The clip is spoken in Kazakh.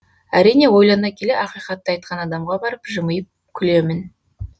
әрине ойлана келе ақиқатты айтқан адамға барып жымип күлемін